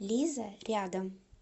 лиза рядом